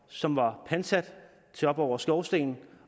som var pantsat til op over skorsten